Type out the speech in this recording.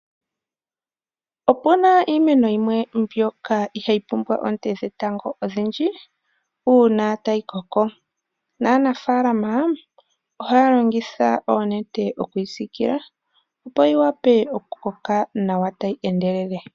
Iimeno yimwe ihayi pumbwa oonte dhetango odhindji uuna tayi koko. Aanafaalama ohaya longitha oonete okuyi siikila opo yiwape okukoka nawa tayi endelele.